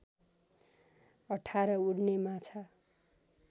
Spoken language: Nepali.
१८ उड्ने माछा